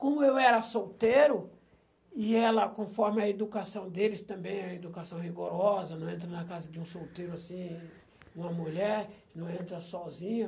Como eu era solteiro, e ela, conforme a educação deles, também é educação rigorosa, não entra na casa de um solteiro assim, uma mulher, não entra sozinha.